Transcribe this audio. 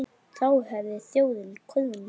Þá hefði þjóðin koðnað.